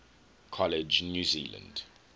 college new zealand